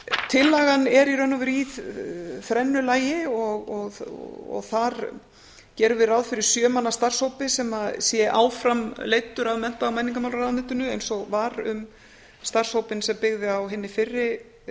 tillagan er í raun og veru í þrennu lagi og þar gerum við ráð fyrir sjö manna starfshópi sem að sé áfram leiddur af mennta og menningarmálaráðuneytinu eins og var um starfshópinn sem byggði á hinni fyrri